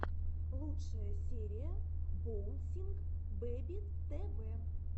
лучшая серия боунсинг бэби тэ вэ